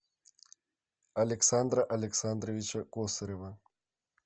александра александровича косарева